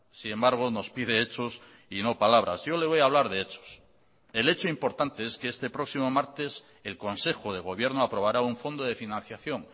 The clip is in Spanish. sin embargo nos pide hechos y no palabras yo le voy a hablar de hechos el hecho importante es que este próximo martes el consejo de gobierno aprobará un fondo de financiación